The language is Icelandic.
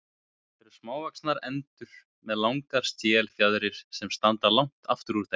Þetta eru smávaxnar endur með langar stélfjaðrir sem standa langt aftur úr þeim.